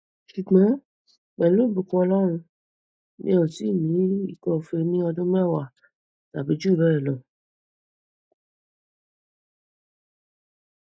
ṣugbọn pelu ibukun ọlọrun mi o ti ni ikọfèé ni ọdun mẹwa tabi ju bẹẹ lọ